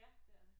Ja det er det